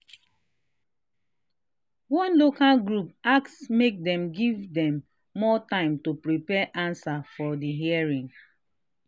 one local group ask make dem give dem more time to prepare answer for the hearing